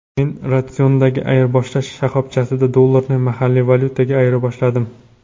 Men Radisson’dagi ayirboshlash shoxobchasida dollarni mahalliy valyutaga ayirboshladim.